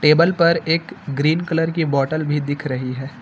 Table पर एक green colour की बॉटल भी दिख रही है।